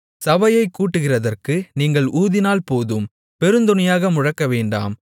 சபையைக் கூட்டுகிறதற்கு நீங்கள் ஊதினால் போதும் பெருந்தொனியாக முழக்கவேண்டாம்